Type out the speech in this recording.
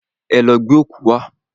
Ẹ lọ gbẹ́ ọ̀kú wá!